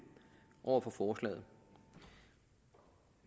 over for forslaget